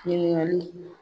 Ɲininkaliw